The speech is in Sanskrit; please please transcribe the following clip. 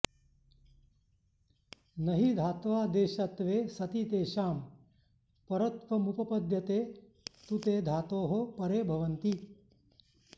न हि धात्वादेशत्वे सति तेषां परत्वमुपपद्यते तु ते धातोः परे भवन्ति